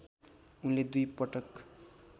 उनले दुई पटक